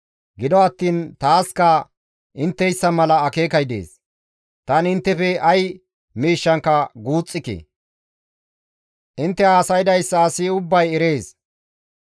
Gido attiin taaska intteyssa mala akeekay dees; tani inttefe ay miishshankka guuxxike; intte haasaydayssa asi ubbay erees.